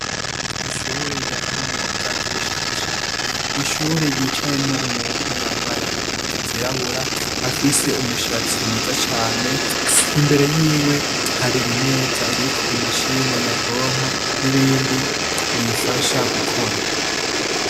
Ishure rya kaminuza ry'ubushakashatsi, ishure ryicayemwo umuntu yambaye impuzu zirabura afise umushatsi mwiza cane, imbere yiwe hari imeza iriko imashine nyabwonko n'ibindi biyifasha gukora.